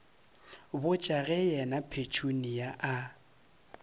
botša ge yena petunia a